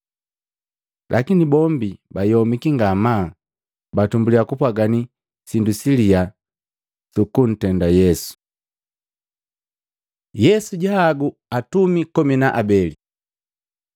Lakini bombi bayomiki ngamaa batumbulya kupwagani sindu siliyaa sukuntenda Yesu. Yesu jahagu atumi kumi na abeli Matei 10:1-4; Maluko 3:13-19